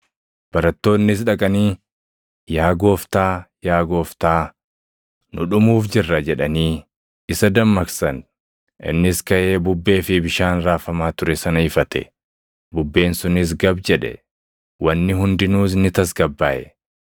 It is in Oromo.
Barattoonnis dhaqanii, “Yaa Gooftaa, yaa Gooftaa, nu dhumuuf jirra!” jedhanii isa dammaqsan. Innis kaʼee bubbee fi bishaan raafamaa ture sana ifate; bubbeen sunis gab jedhe; wanni hundinuus ni tasgabbaaʼe.